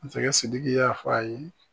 Masakɛ Sidiki y'a fɔ a ye